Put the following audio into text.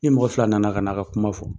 Ni mɔgɔ fila nana ka n'a ka kuma fɔ